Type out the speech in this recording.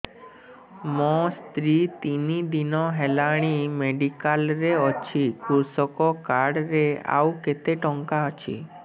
ମୋ ସ୍ତ୍ରୀ ତିନି ଦିନ ହେଲାଣି ମେଡିକାଲ ରେ ଅଛି କୃଷକ କାର୍ଡ ରେ ଆଉ କେତେ ଟଙ୍କା ଅଛି